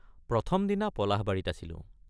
প্ৰথম দিনা পলাশবাৰীত আছিলোঁ।